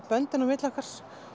böndin á milli okkar